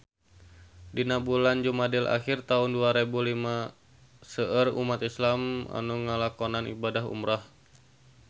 Dina bulan Jumadil ahir taun dua rebu lima seueur umat islam nu ngalakonan ibadah umrah